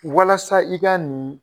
Walasa i ka nin